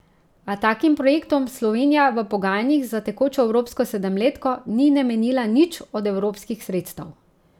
A takim projektom Slovenija v pogajanjih za tekočo evropsko sedemletko ni namenila nič od evropskih sredstev.